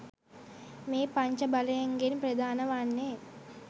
මේ පංච බලයන්ගෙන් ප්‍රධාන වන්නේ